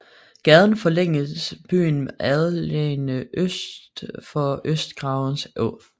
Gaden forlængede byens Algade øst for Østergravens Å